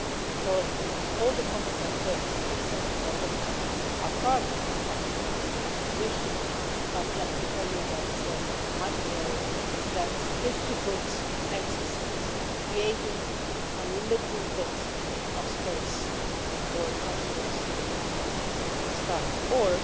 So all the comments I have heard are something that is obviously part of our common European position, but let me tell you that my priority is that difficult exercise of creating a little bit of space for confidence to restart, or